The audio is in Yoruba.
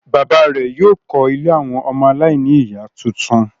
Bàbá rẹ̀ yóò kọ́ ilé àwọn ọmọ aláìníìyá tuntun.